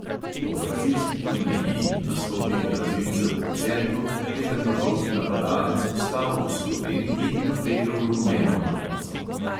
Po brazilski turneji in nastopih brazilcev v celju je temnopolti napadalec ostal v sloveniji in oblekel rumeno majico.